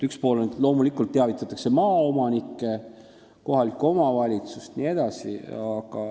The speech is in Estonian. Üks pool asjast on see, et loomulikult teavitatakse maaomanikke, kohalikku omavalitsust jne.